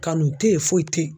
Kanu tɛ yen foyi tɛ yen